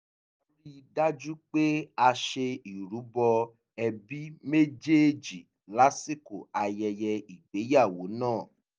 a ri dájú pé a ṣe ìrubo ẹbí méjèèjì lásìkò ayẹyẹ ìgbéyàwó náà